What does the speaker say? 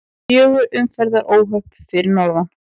Fjögur umferðaróhöpp fyrir norðan